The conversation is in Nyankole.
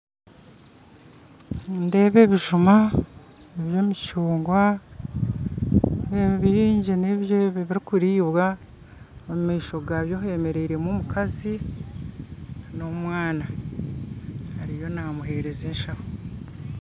Nindeeba ebijuma nindeeba emicunguwa ndeeba nebingi ebi ebirikuriibwa omu maisho gabyo hemeriire omukazi n'omwana ariyo namuheereza eshaho